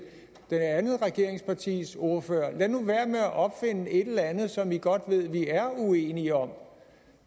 det andet regeringspartis ordfører lad nu være med at opfinde et eller andet som man godt ved vi er uenige om